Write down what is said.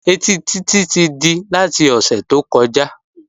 Ẹtí Títí ti di láti ọ̀sẹ̀ tó kọjá